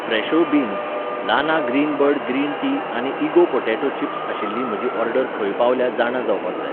Fresho beans, लाना Greenbird green tea आनी इगो पॉटॅटो चिप्स आशिल्ली म्हजी ऑर्डर खंय पावल्या जाणा जावपाक जाय